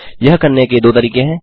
यह करने के दो तरीके हैं